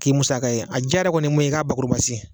K'i musaga ye, a diyara yɔrɔ kɔni ye mun ye, i ka bakuruba sen.